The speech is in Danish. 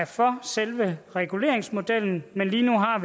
for selve reguleringsmodellen men lige nu har